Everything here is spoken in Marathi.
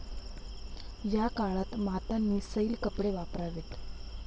या काळात मातांनी सैल कपडे वापरावेत.